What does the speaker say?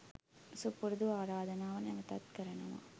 සුපුරුදු ආරාධනාව නැවතත් කරනවා